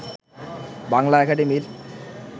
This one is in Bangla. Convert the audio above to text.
বাংলা একাডেমির